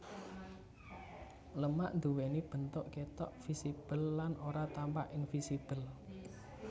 Lemak nduwèni bentuk ketok visible lan ora tampak invisible